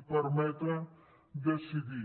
i permetre decidir